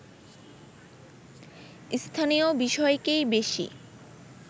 স্থানীয় বিষয়কেই বেশি